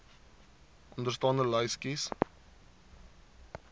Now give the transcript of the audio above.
onderstaande lys kies